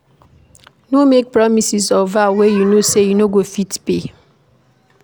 No make promises or vow wey you know sey you no go fit pay